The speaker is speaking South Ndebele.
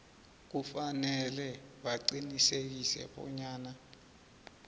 kufanele baqinisekise bonyana